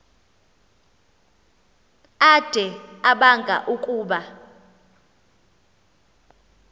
ade abanga ukuba